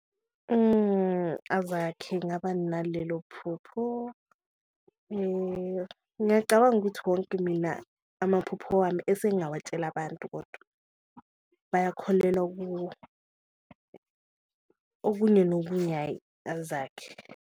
Azakhe ngaba nalelo phupho ngiyacabanga ukuthi wonke mina amaphupho wami esengawatshela abantu kodwa bakholelwa kuwo, okunye nokunye hhayi azakhe.